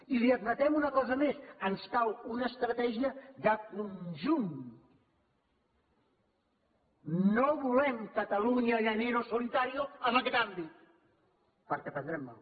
i li admetem una cosa més ens cal una estratègia de conjunt no volem catalunya llanero solitario en aquest àmbit perquè prendrem mal